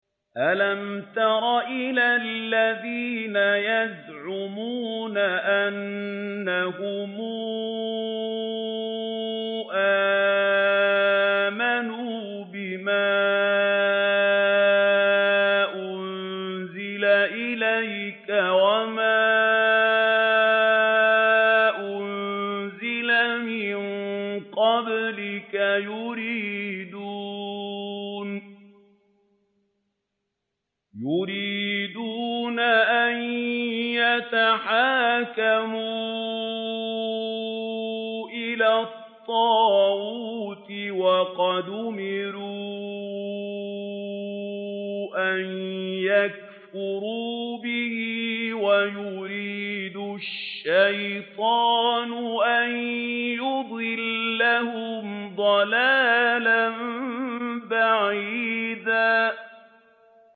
أَلَمْ تَرَ إِلَى الَّذِينَ يَزْعُمُونَ أَنَّهُمْ آمَنُوا بِمَا أُنزِلَ إِلَيْكَ وَمَا أُنزِلَ مِن قَبْلِكَ يُرِيدُونَ أَن يَتَحَاكَمُوا إِلَى الطَّاغُوتِ وَقَدْ أُمِرُوا أَن يَكْفُرُوا بِهِ وَيُرِيدُ الشَّيْطَانُ أَن يُضِلَّهُمْ ضَلَالًا بَعِيدًا